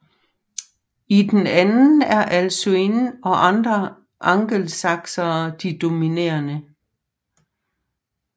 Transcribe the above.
I den anden er Alcuin og andre angelsaksere de dominerende